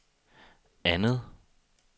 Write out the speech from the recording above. andet